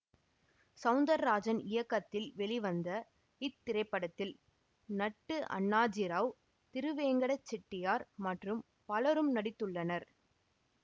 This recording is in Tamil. சௌந்தர்ராஜன் இயக்கத்தில் வெளிவந்த இத்திரைப்படத்தில் நட்டு அண்ணாஜிராவ் திருவெங்கட செட்டியார் மற்றும் பலரும் நடித்துள்ளனர்